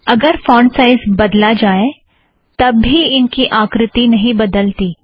अगर font size बदला जाऐं तब भी इनकी आकृति नहीं बदलती